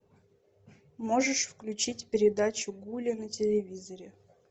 можешь включить передачу гули на телевизоре